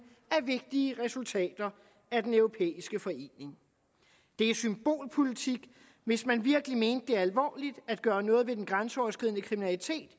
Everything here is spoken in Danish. er vigtige resultater af den europæiske forening det er symbolpolitik hvis man virkelig mente det at gøre noget ved grænseoverskridende kriminalitet